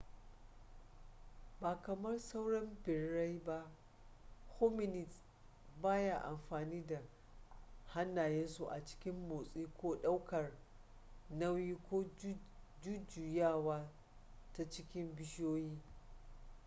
ba kamar sauran birrai ba hominids baya amfani da hannayensu a cikin motsi ko ɗaukar nauyi ko jujjuyawa ta cikin bishiyoyi